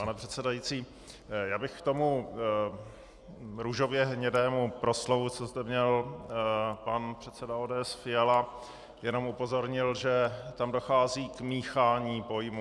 Pane předsedající, já bych k tomu růžově hnědému proslovu, co zde měl pan předseda ODS Fiala, jenom upozornil, že tam dochází k míchání pojmů.